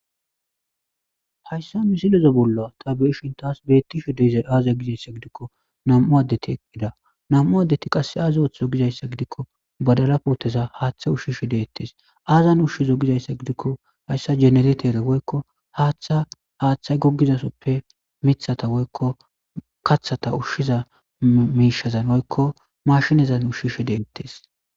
Hayssa misilozo bolla ta beeshin taas beettisho deyza aaza gizayssa gidikko nam'u addetiida nam'u addeti qasse aaza oththo gizayssa gidikko badara pooteza haaththa ushshishe deettes aazan ushshizo gizayssa gidikko hayssa jeneretere woykko haaththa haaththay goggizasoppe mithata woykko kathata ushshiza miishazan woykko mashinazan ushshishe deettes.